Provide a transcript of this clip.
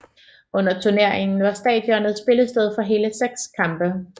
Under turneringen var stadionet spillested for hele seks kampe